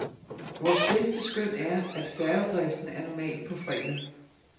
Vores bedste skøn er, at færgedriften er normal på fredag.